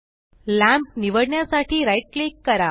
lamp निवडण्यासाठी right click करा